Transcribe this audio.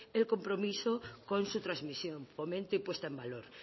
el compromiso con su transmisión fomento y puesta en valor